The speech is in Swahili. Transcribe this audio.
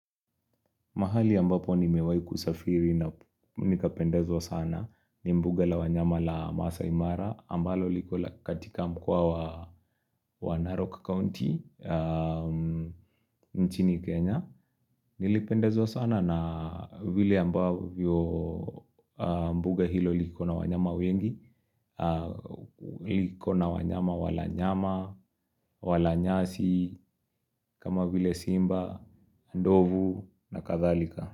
Mahali ambapo nimewahi kusafiri na nikapendezwa sana ni mbuga la wanyama la Masaai mara ambalo liko katika mkoa wa Narok County, nchini Kenya. Nilipendezwa sana na vile ambavyo mbuga hilo liko na wanyama wengi, liko na wanyama wala nyama, wala nyasi, kama vile simba, ndovu na kadhalika.